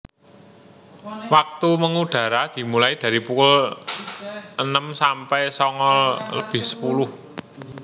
Waktu mengudara dimulai dari pukul enem sampai sanga lebih sepuluh